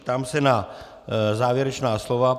Ptám se na závěrečná slova.